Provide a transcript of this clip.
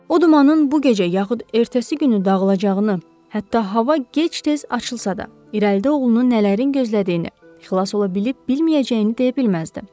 O dumanın bu gecə yaxud ertəsi günü dağılacağını, hətta hava gec-tez açılsa da, irəlidə oğlunu nələrin gözlədiyini, xilas ola bilib bilməyəcəyini deyə bilməzdi.